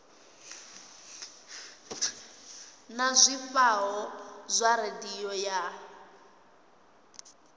na zwifhao zwa radio ya